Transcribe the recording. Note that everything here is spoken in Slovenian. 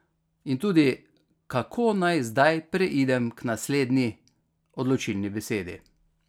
In tudi, kako naj zdaj preidem k naslednji, odločilni besedi?